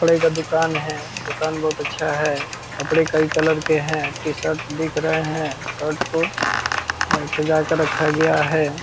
कपड़े का दूकान है। दूकान बहुत अच्छा है। कपड़े कईं कलर के हैं। टीशर्ट दिख रहे हैं। शर्ट को सजा के रखा गया है।